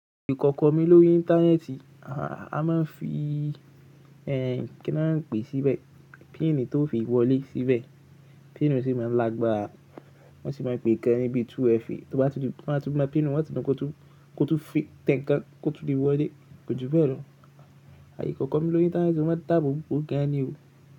Ìkọ̀kọ̀ mi lórí Íńtánẹ́ẹ̀tì, a máa ń fi ẹ́n kí a máa pè síbẹ̀, píìnì tó fi wọlé síbẹ̀. Píìnì sì máa ń lágbára wọ́n sì máa pèé kan níbi 2FA. Tó bá tún máa tú píìnì, wọ́n ti mọ kó tún fi tẹ́ ǹkan kó tó lè wọlé, kò ju bẹ́ẹ̀ lọ. Ìkọ̀kọ̀ kọ mi lórí Íńtánẹ́ẹ̀tì mo máa ń dá àbò bòó gan ni o.